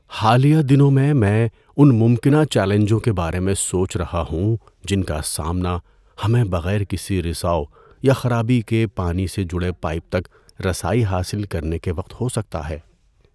حالیہ دنوں میں میں ان ممکنہ چیلنجوں کے بارے میں سوچ رہا ہوں جن کا سامنا ہمیں بغیر کسی رِساؤ یا خرابی کے پانی سے جڑے پائپ تک رسائی حاصل کرنے کے وقت ہو سکتا ہے۔